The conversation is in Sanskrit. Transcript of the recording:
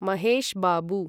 महेश् बाबू